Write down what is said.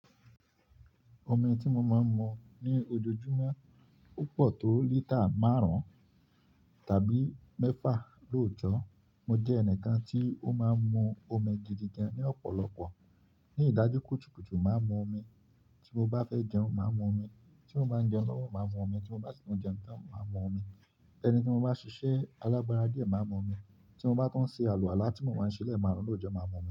Omi tí mo máa ń mu ní ojoojúmọ́, o pọ̀ tó lítà márùn-ún tàbí mẹ́fà lóòjọ́. Mo jẹ́ ẹnìkan tí ó máa ń mu omi gidi gan ní ọ̀pọ̀lọpọ̀. Ní ìdájú kùtùkùtù, máa mu omi. Tí mo bá fẹ́ jẹun, màá mu omi. Tí mo bá n jẹun lọ́wọ́, màá mu omi. Tí mo bá si tu jẹun tán, màá mu omi. Ẹni tí mo bá ṣiṣẹ́ alágbará dìẹ, màá mu omi. Tí mo bá tún ṣe àlùwàlá tí mo máa ń ṣe lẹ́ẹ̀marun lóòjọ́, màá mu omi.